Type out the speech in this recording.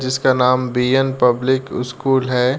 जिसका नाम B N public school है।